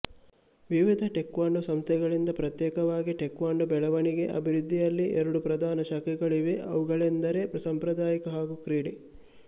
ವಿವಿಧ ಟೇಕ್ವಾಂಡೋ ಸಂಸ್ಥೆಗಳಿಂದ ಪ್ರತ್ಯೇಕವಾಗಿ ಟೇಕ್ವಾಂಡೋ ಬೆಳವಣಿಗೆಅಭಿವೃದ್ಧಿಯಲ್ಲಿ ಎರಡು ಪ್ರಧಾನ ಶಾಖೆಗಳಿವೆ ಅವುಗಳೆಂದರೆ ಸಾಂಪ್ರದಾಯಿಕ ಹಾಗೂ ಕ್ರೀಡೆ